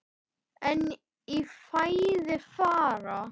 En í fæði fara